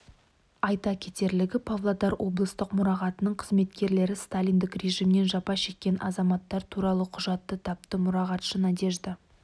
айта кетерлігі павлодар облыстық мұрағатының қызметкерлері сталиндік режимнен жапа шеккен азаматтар туралы құжатты тапты мұрағатшы надежда